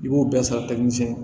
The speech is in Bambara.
I b'o bɛɛ sara